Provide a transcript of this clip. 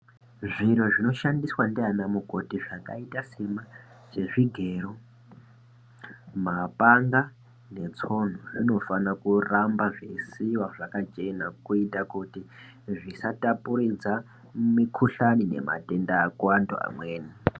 Zviro zvinoshandiswa ndianamukoti zvakaita sezvigero, mapanga netsono zvinofanira kuramba zveisiiwa zvakachena kuita kuti zvisatapurira mikuhlani nematenda kuantu amweni.